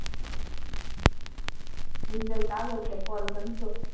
result આવે એટલે call કરજો.